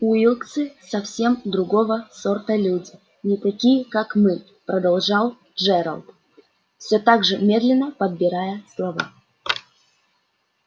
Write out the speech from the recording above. уилксы совсем другого сорта люди не такие как мы продолжал джералд всё так же медленно подбирая слова